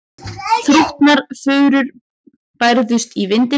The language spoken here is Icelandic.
Þrútnar furur bærðust í vindinum.